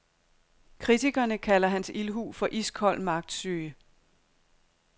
Kritikerne kalder hans ildhu for iskold magtsyge.